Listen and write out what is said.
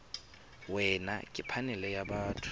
wena ke phanele ya batho